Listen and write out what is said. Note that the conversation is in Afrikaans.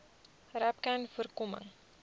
rapcanvoorkoming